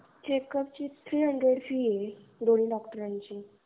Checkup ची fee तीनशे हे दोन्ही डॉक्टरांची.